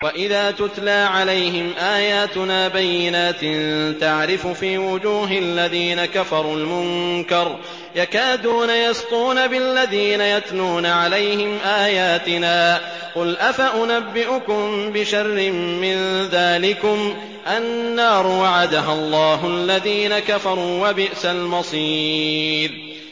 وَإِذَا تُتْلَىٰ عَلَيْهِمْ آيَاتُنَا بَيِّنَاتٍ تَعْرِفُ فِي وُجُوهِ الَّذِينَ كَفَرُوا الْمُنكَرَ ۖ يَكَادُونَ يَسْطُونَ بِالَّذِينَ يَتْلُونَ عَلَيْهِمْ آيَاتِنَا ۗ قُلْ أَفَأُنَبِّئُكُم بِشَرٍّ مِّن ذَٰلِكُمُ ۗ النَّارُ وَعَدَهَا اللَّهُ الَّذِينَ كَفَرُوا ۖ وَبِئْسَ الْمَصِيرُ